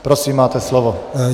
Prosím, máte slovo.